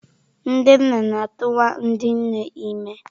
Ndị nna na-atụwa ndị nne ime.